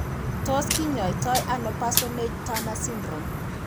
Tos kinyaii to ano Parsonage Turner syndrome ?